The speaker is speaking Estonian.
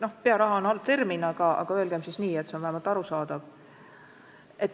Noh, "pearaha" on ehk halb termin, aga see on vähemalt arusaadav.